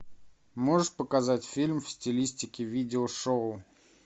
можешь показать фильм в стилистике видеошоу